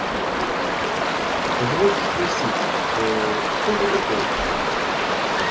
позвольте спросить кто вы такой